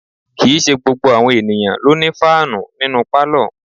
Kì í ṣe gbogbo àwọn ènìyàn ló ní fáànù nínú pálọ̀